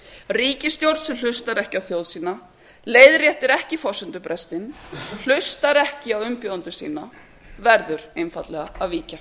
ríkisstjórn sem hlustar ekki á þjóð sína leiðréttir ekki forsendubrestinn hlustar ekki á umbjóðendur sína verður einfaldlega að víkja